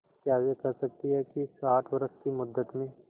क्या वे कह सकती हैं कि इस आठ वर्ष की मुद्दत में